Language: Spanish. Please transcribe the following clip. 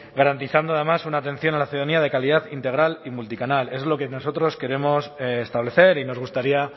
garantizando además una atención a la ciudadanía de calidad integral y multicanal es lo que nosotros queremos establecer y nos gustaría